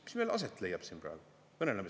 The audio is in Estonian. Mis meil aset leiab siin praegu?